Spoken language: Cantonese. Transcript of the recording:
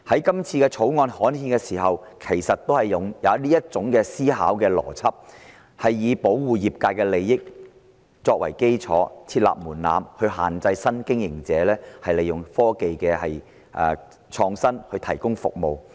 今次《條例草案》刊憲，當局亦是用這種思維邏輯，以保護業界利益為基礎，設立門檻限制新經營者利用創新科技提供服務。